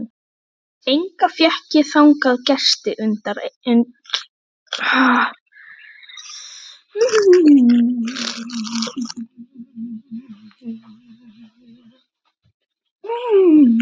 Enga fékk ég þangað gesti utan einn.